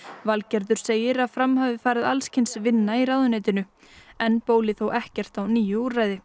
Valgerður segir að fram hafi farið alls kyns vinna í ráðuneytinu enn bólar þó ekkert á nýju úrræði